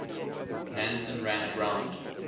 nansen ran aground